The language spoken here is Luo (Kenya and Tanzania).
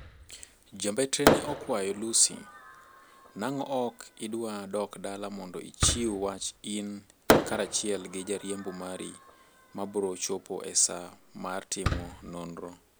Ja mbetre ne okwayo Lussi: nang'o ok idwa dok dala mondo ichiw wach in karachiel gi jariembo mari, mabro chopo e saa mar timo nonro.